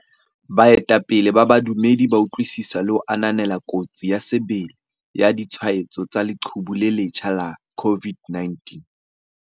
Baetapele ba badumedi ba utlwisisa le ho ananela kotsi ya sebele ya ditshwaetso tsa leqhubu le le letjha la COVID-19.